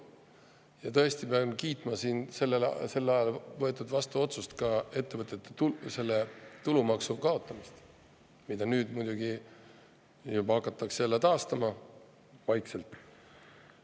Ja tõesti pean kiitma sel ajal vastu võetud otsust, ettevõtete tulumaksu kaotamist, mida nüüd muidugi hakatakse jälle vaikselt taastama.